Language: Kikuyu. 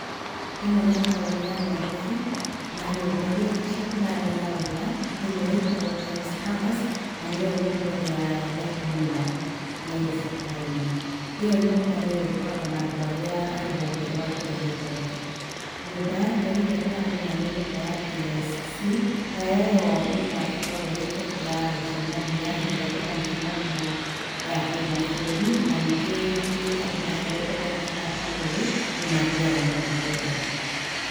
Ĩno nĩ taũni ya Nairobi na nyũmba igĩrĩ nĩcio ndĩramenya wega. Ĩmwe ĩtagwo Times Towers na nĩyo nyũmba ĩrĩa ndaihu mũno Nairobi taũni. Ĩyo nyũmba nĩo ĩkoragwo andũ arĩa a rũhonge rwa kũrĩha igoti. Nyũmba ya kerĩ ĩrĩa ndĩramenya nĩ nyũmba ya KICC , nayo ĩyo nyũmba ĩkoragwo kaingĩ nĩ ya gũcemania hĩndĩ ĩrĩa kwĩna mĩcemanio ya kĩmabũrũri na ningĩ rĩngĩ andũ macerete matamĩũĩ nĩ mathiaga mũno kwĩrorera.